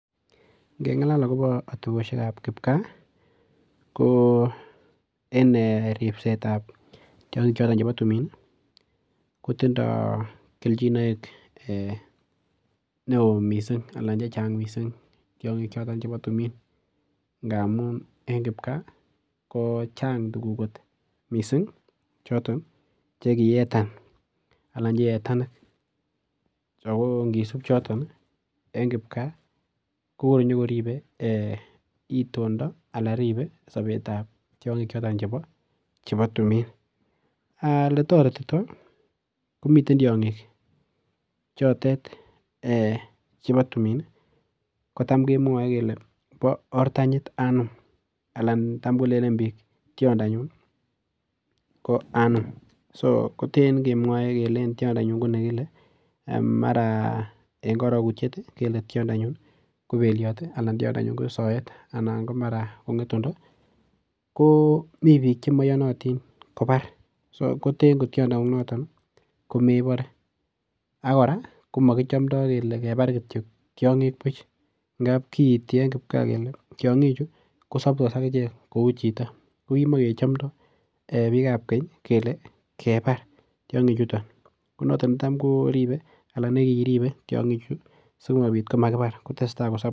Ngengalal agobo atebisiekab kipkaa ko en ripsetab tiongik choto chebo tumin ko tindo keljinoik neo mising anan che chang mising tiongik choto chebo timin. Ngamun en kipkaa ko changtuguk kot mising choton chekiyetanik ago ngisup choton en kipkaa kokonyokoribe itondo anan ribe sobetab tiongik choton chebo tumin. Oletorerito komiten tiongik chotet chebo tumin kotam kemwoe kele bo ortanyit anum anan tam kolenen biik tiondonyun ko anum. Sokoten kemwoe kele en tiondonyun kele mara en korogutyet keletiondonyun ko beliot anan tiondonyun ko soet anan ko mara ko ngetundo komi biik che moiyonotin kobar. Sokoten kotiondongung notok komebore ak kora kele kebar kityok tiongik buch ngab kiiti eng kipkaa kele tiongichu kosoptos ak ichek kou chito. Ko kimakechomndo biikab keny kele kebar tiongi chuto. Konoto konekiribe tiongichu sigopit ko makibar kotesta kosop.